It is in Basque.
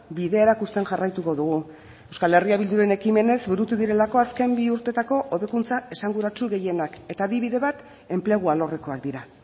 bidea erakusten jarraituko dugu euskal herria bilduren ekimenez burutu direlako azken bi urtetako hobekuntza esanguratsu gehienak eta adibide bat enplegu alorrekoak dira